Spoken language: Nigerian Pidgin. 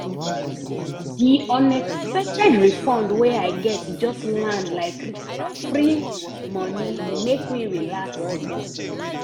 di unexpected refund wey i get just land like free moni e make me relax small.